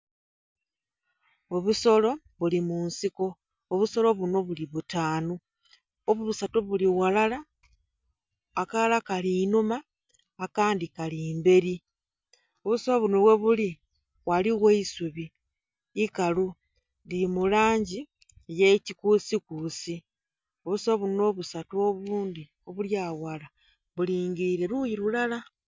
Obusolo buli munsiko obusolo bunho buli butaanhu, obusatu buli ghalala akalala kali inhuma akandhi kali mbeli. Obusolo bunho ghebuli ghaligho eisubi ikalu lili mu langi ey'ekikusikusi. Obusolo bunho obusatu obundhi obuli aghalala bulingiliile luyi lulala